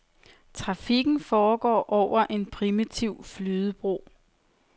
Trafikken foregår over en primitiv flydebro.